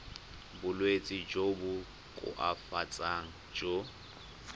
bolwetsi jo bo koafatsang jo